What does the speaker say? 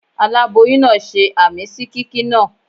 Aláboyún náà ṣe àmín sí kíkí náà.